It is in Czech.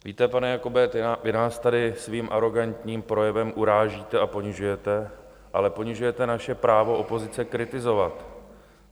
Víte, pane Jakobe, vy nás tady svým arogantním projevem urážíte a ponižujete, ale ponižujete naše právo opozice kritizovat.